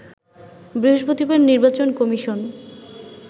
বৃহস্পতিবার নির্বাচন কমিশন